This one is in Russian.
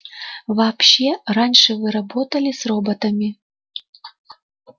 вообще раньше вы работали с роботами